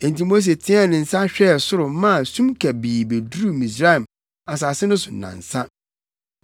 Enti Mose teɛɛ ne nsa hwɛɛ soro maa sum kabii beduruu Misraim asase no so nnansa.